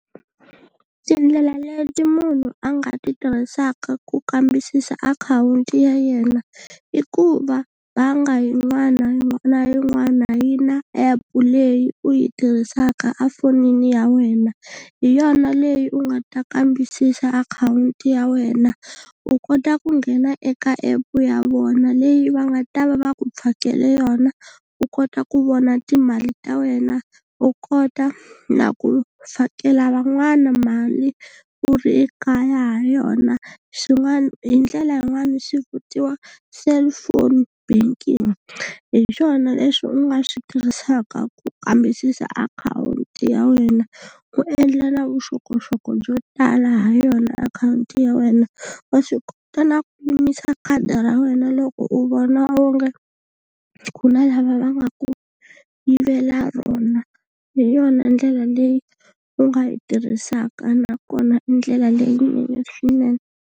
Tindlela leti munhu a nga ti tirhisaka ku kambisisa akhawunti ya yena i ku va bangi yin'wana na yin'wana yi na app leyi u yi tirhisaka efonini ya wena, hi yona leyi u nga ta kambisisa akhawunti ya wena u kota ku nghena eka app ya vona leyi va nga ta va va ku fakele yona u kota ku vona timali ta wena. U kota na ku fakela van'wana mali u ri ekaya ha yona, swin'wana hi ndlela yin'wani swi vitiwa cellphone banking hi swona leswi u nga swi tirhisaka ku kambisisa akhawunti ya wena u endla na vuxokoxoko byo tala ha yona akhawunti ya wena. Wa swi kota na ku yimisa khadi ra wena loko u vona onge, ku na lava va nga ku yivela rona hi yona ndlela leyi u nga yi tirhisaka nakona i ndlela leyinene swinene.